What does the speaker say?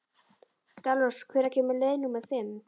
Dalrós, hvenær kemur leið númer fimm?